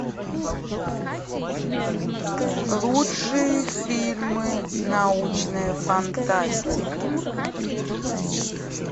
лучшие фильмы научная фантастика